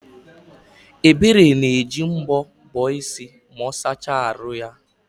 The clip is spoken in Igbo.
Ebere na-eji mbọ bọọ isi ma ọ sachaa ahụ ya